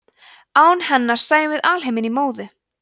án hennar sæjum við alheiminn í móðu